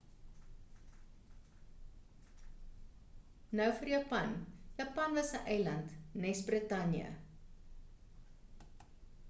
nou vir japan japan was 'n eiland nes britanje